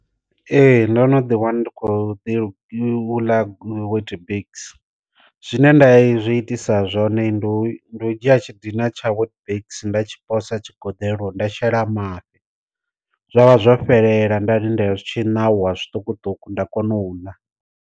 Ee ndono ḓi wana ndi kho ḓi u ḽa weetbiks, zwine nda zwi itisa zwone ndi u dzhia tshi dina tsha weetbiks nda tshi posa tshi goḓeloni nda shela mafhi zwavha zwo fhelela nda lindela zwi tshi nauwa zwiṱukuṱuku nda kona u ḽa.